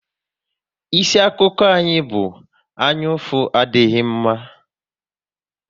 Isi akụkọ anyị bụ "Anyaụfụ adịghị mma"